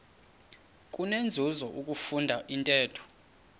kunenzuzo ukufunda intetho